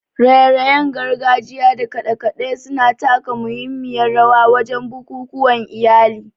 raye-rayen gargajiya da kade-kade su na taka muhimmiyar rawa wajen bukukuwan iyali.